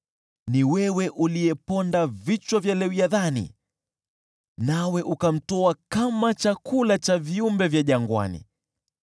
Ni wewe uliyeponda vichwa vya Lewiathani nawe ukamtoa kama chakula kwa viumbe vya jangwani.